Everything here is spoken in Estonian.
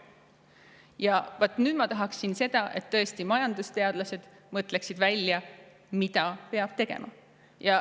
Ja vaat nüüd ma tahaksin tõesti seda, et majandusteadlased mõtleksid välja, mida peab tegema.